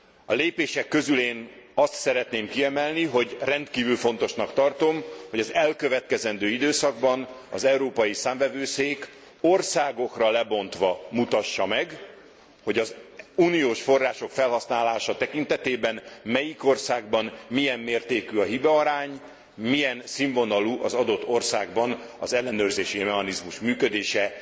A lépések közül én azt szeretném kiemelni, hogy rendkívül fontosnak tartom, hogy az elkövetkezendő időszakban az Európai Számvevőszék országokra lebontva mutassa meg, hogy az uniós források felhasználása tekintetében melyik országban milyen mértékű a hibaarány, milyen színvonalú az adott országban az ellenőrzési mechanizmus működése.